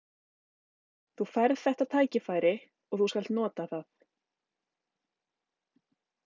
Þú færð þetta tækifæri og þú skalt nota það.